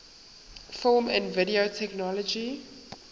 film and video technology